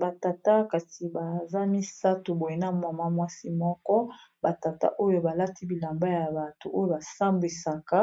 Ba tata kasi baza misato boye na mwana mwasi moko, ba tata oyo balati bilamba ya batu oyo basambisaka,